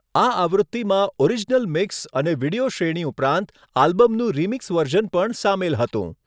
આ આવૃત્તિમાં original mix અને વીડિયો શ્રેણી ઉપરાંત આલ્બમનું રિમિક્સ વર્ઝન પણ સામેલ હતું.